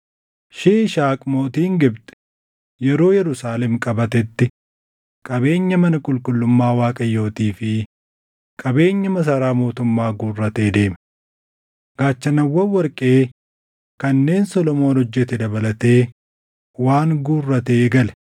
Shiishaaq mootiin Gibxi yeroo Yerusaalem qabatetti qabeenya mana qulqullummaa Waaqayyootii fi qabeenya masaraa mootummaa guurratee deeme. Gaachanawwan warqee kanneen Solomoon hojjete dabalatee waan guurratee gale.